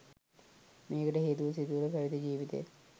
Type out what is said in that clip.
මේකට හේතුව සිත තුළ පැවිදි ජීවිතය